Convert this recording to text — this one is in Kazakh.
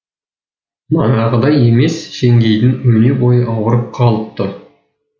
манағыдай емес жеңгейдің өне бойы ауырып қалыпты